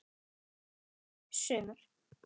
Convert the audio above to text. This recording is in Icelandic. Fimm sumur